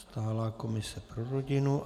Stálá komise pro rodinu.